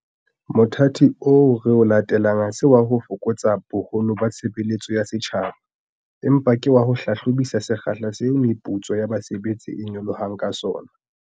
Mothati oo re o latelang ha se wa ho fokotsa boholo ba tshebeletso ya setjhaba, empa ke wa ho hlahlobisisa sekgahla seo meputso ya basebetsi e nyolohang ka sona.